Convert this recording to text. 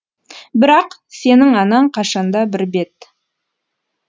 бірақ сенің анаң қашанда бір бет